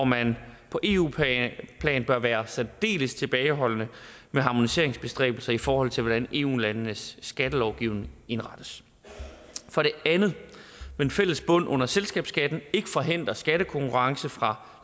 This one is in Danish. man på eu plan bør være særdeles tilbageholdende med harmoniseringsbestræbelser i forhold til hvordan eu landenes skattelovgivning indrettes for det andet vil en fælles bund under selskabsskatten ikke forhindre skattekonkurrence fra